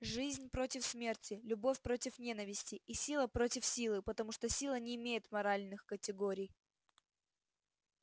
жизнь против смерти любовь против ненависти и сила против силы потому что сила не имеет моральных категорий